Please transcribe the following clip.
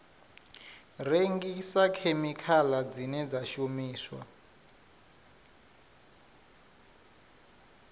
rengisa khemikhala dzine dza shumiswa